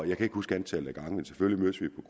jeg kan ikke huske antal gange men selvfølgelig